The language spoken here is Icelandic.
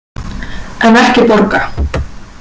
En ekki borga.